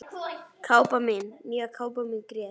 Kápan mín, nýja kápan mín grét